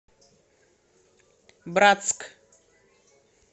братск